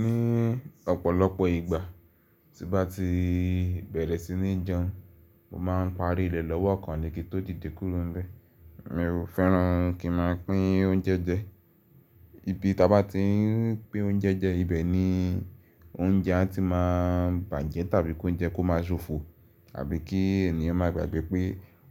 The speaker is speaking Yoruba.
Ní ọ̀pọ̀lọpọ̀ ìgbà tí bá ti bẹ̀rẹ̀ sí ní jẹun, mo ma ń parí ilẹ̀ lọ́wọ́ kan ni kí ó dìde kuro ńbẹ̀. Mi ò fẹ́ràn kí n máa pín oúnjẹ jẹ. Ibi tí a bá ti ń pín oúnjẹ jẹ ibẹ̀ ni oúnjẹ a ti máa ń bàjẹ́ tàbí kí oúnjẹ kó máa ṣòfò àbí kí ènìyàn máa gbàgbẹ́ pé